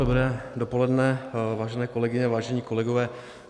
Dobré dopoledne, vážené kolegyně, vážení kolegové.